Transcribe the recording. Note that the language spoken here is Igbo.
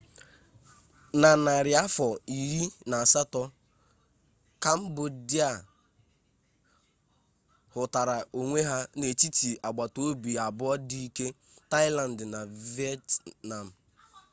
na narị afọ iri na asatọ kambodia hụtara onwe ya n'etiti agbatobi abụọ dị ike taịland na vietnam